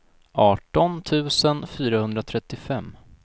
arton tusen fyrahundratrettiofem